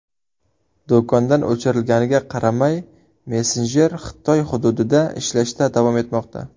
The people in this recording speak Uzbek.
Do‘kondan o‘chirilganiga qaramay, messenjer Xitoy hududida ishlashda davom etmoqda.